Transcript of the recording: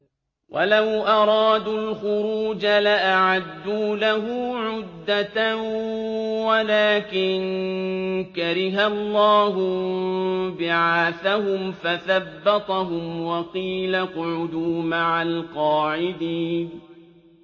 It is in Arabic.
۞ وَلَوْ أَرَادُوا الْخُرُوجَ لَأَعَدُّوا لَهُ عُدَّةً وَلَٰكِن كَرِهَ اللَّهُ انبِعَاثَهُمْ فَثَبَّطَهُمْ وَقِيلَ اقْعُدُوا مَعَ الْقَاعِدِينَ